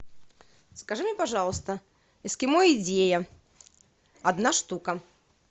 закажи мне пожалуйста эскимо идея одна штука